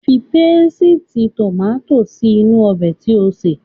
Fi pésìtì tòmátò sí inú ọbẹ̀ tí ò ń sè.